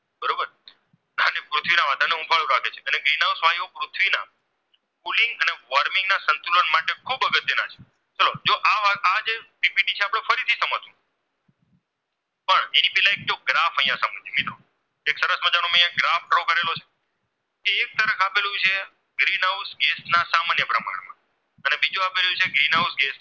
Green house એટલે